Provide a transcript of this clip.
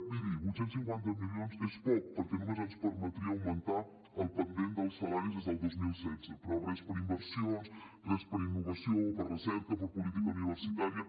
miri vuit cents i cinquanta milions és poc perquè només ens permetria augmentar el pendent dels salaris des del dos mil setze però res per a inversions res per a innovació o per a recerca per a política universitària